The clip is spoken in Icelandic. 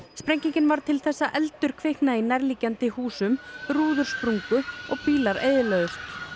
sprengingin varð til þess að eldur kviknaði í nærliggjandi húsum rúður sprungu og bílar eyðilögðust